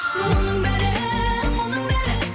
мұның бәрі мұның бәрі